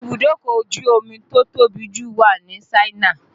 Ibùdókọ̀ ojú omi tó tóbi jù wà ní Ṣáínà